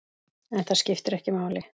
En það skiptir ekki máli.